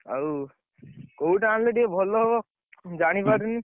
ଆଉ, କୋଉଟା ଆଣିଲେ ଟିକେ ଭଲ ହବ? ମୁଁ ଜାଣିପାରୁନି।